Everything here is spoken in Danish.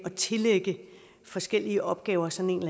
at tillægge forskellige opgaver sådan